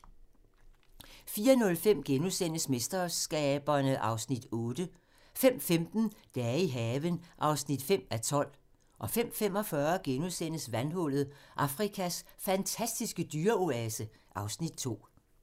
04:05: MesterSkaberne (Afs. 8)* 05:15: Dage i haven (5:12) 05:45: Vandhullet – Afrikas fantastiske dyreoase (Afs. 2)*